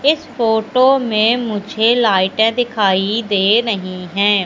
इस फोटो में मुझे लाइटे दिखाई दे रहीं है।